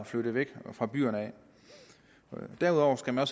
flyttet væk fra byerne derudover skal man